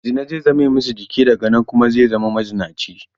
Zina zai zame masa jiki, daga nan kuma zai zama mazinaci.